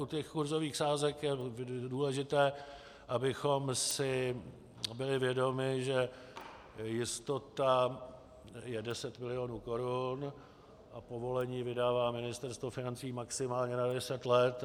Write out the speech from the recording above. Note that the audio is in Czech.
U těch kurzových sázek je důležité, abychom si byli vědomi, že jistota je 10 milionů korun a povolení vydává Ministerstvo financí maximálně na 10 let.